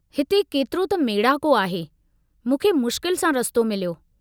हिते केतिरो त मेड़ाको आहे, मूंखे मुश्किल सां रस्तो मिलियो।